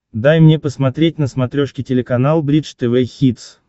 дай мне посмотреть на смотрешке телеканал бридж тв хитс